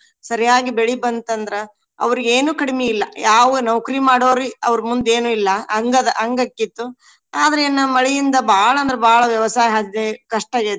ಸರಿಯಾಗಿ ಬೆಳಿ ಬಂತಂದ್ರ ಅವ್ರಿಗ ಏನು ಕಡಿಮಿ ಇಲ್ಲಾ. ಯಾವ ನೌಕ್ರಿ ಮಾಡೊವ್ರಿ ಅವ್ರ ಮುಂದ್ ಏನು ಇಲ್ಲಾ. ಹಂಗದ ಹಂಗ ಆಕ್ಕಿತ್ತು. ಆದ್ರ ಏನ ಮಳಿಯಿಂದ ಬಾಳ ಅಂದ್ರ ಬಾಳ ವ್ಯವಸಾಯ ಹದ ಕಷ್ಟ ಆಗೇತಿ.